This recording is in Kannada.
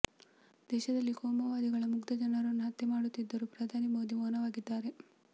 ದೇಶದಲ್ಲಿ ಕೋಮುವಾದಿಗಳು ಮುಗ್ದ ಜನರನ್ನು ಹತ್ಯೆ ಮಾಡುತ್ತಿದ್ದರೂ ಪ್ರಧಾನಿ ಮೋದಿ ಮೌನವಾಗಿದ್ದಾರೆ